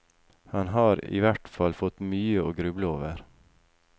Han har i hvert fall fått mye å gruble over.